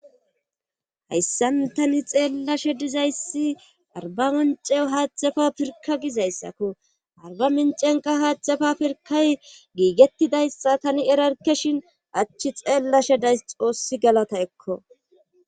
Hayssan tani xeellashe dizayssi arba moncew haadhzdzafa pirka gizayssakko arba mincenqa haadzdafa pirkay giigettidayssa tani erarke shin achchi xeellashe days xoossi galata ekko